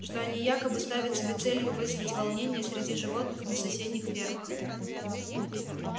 что они якобы ставят себе целью вызвать волнения среди животных на соседних фермах